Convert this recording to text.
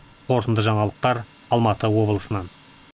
қорытынды жаңалықтар алматы облысынан